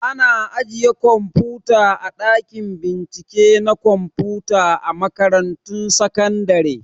Ana ajiye kwamfuta a ɗakin bincike na kwamfuta a makaratun sakandare